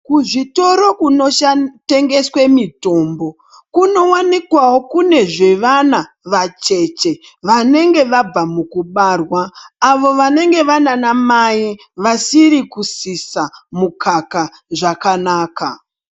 Kuzvitoro kunotengeswa mitombo kunowanikwawo kune zvevana vacheche vanenge vabva mukubarwa avo vanenge vanana mai vasiri kusisa mukaka.